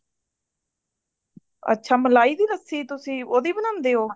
ਅੱਛਾ ਮਲਾਈ ਦੀ ਲੱਸੀ ਤੁਸੀ ਉਹਦੀ ਬਣਾਂਦੇ ਹੋ